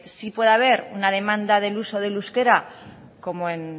sí pueda haber una demanda del uso del euskera como en